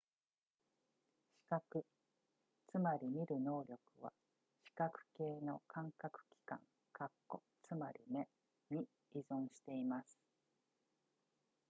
視覚つまり見る能力は視覚系の感覚器官つまり目に依存しています